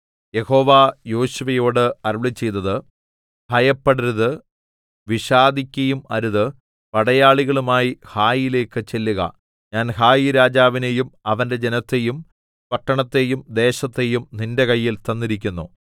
യഹോവ യോശുവയോട് അരുളിച്ചെയ്തത് ഭയപ്പെടരുത് വിഷാദിക്കയും അരുത് പടയാളികളുമായി ഹായിയിലേക്ക് ചെല്ലുക ഞാൻ ഹായിരാജാവിനെയും അവന്റെ ജനത്തെയും പട്ടണത്തെയും ദേശത്തെയും നിന്റെ കയ്യിൽ തന്നിരിക്കുന്നു